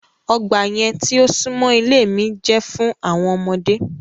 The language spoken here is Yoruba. Ọgba yẹn ti o sunmọ ile mi jẹ fun awọn ọmọde